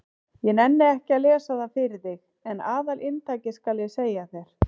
Ég nenni ekki að lesa það fyrir þig en aðalinntakið skal ég segja þér.